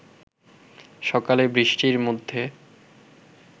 সকালে বৃষ্টির মধ্যে